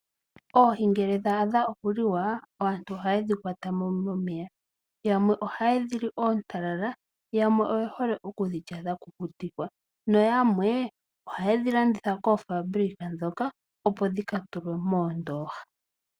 Oohi ngele dha adha okuliwa aantu ohayedhi kwatamo momeya. Yamwe ohaye dhi li oontalala yamwe oye hole okudhi lya dha kukutikwa noyamwe ohayedhi landitha koofambulika dhoka opo dhika tulwe moondoha.